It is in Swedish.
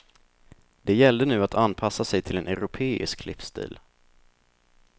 Det gällde nu att anpassa sig till en europeisk livsstil.